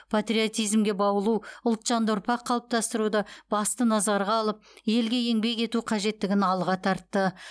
патриотизмге баулу ұлтжанды ұрпақ қалыптастыруды басты назарға алып елге еңбек ету қажеттігін алға тартты